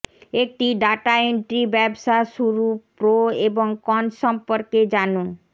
একটি data entry ব্যবসা শুরু প্রো এবং কনস সম্পর্কে জানুন